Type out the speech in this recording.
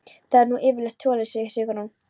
Það er nú yfirleitt svoleiðis, segir Sigrún.